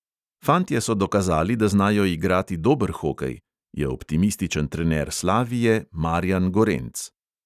"Fantje so dokazali, da znajo igrati dober hokej," je optimističen trener slavije marjan gorenc.